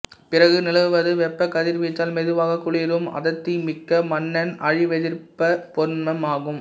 பிறகு நிலவுவது வெப்பக் கதிர்வீச்சால் மெதுவாகக் குளிரும் அடர்த்திமிக்க மின்னன் அழிவெதிர்ப்ப்ப் பொருண்மம் ஆகும்